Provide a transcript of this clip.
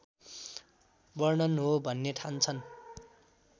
वर्णन हो भन्ने ठान्छन्